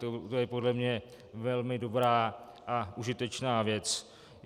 To je podle mě velmi dobrá a užitečná věc.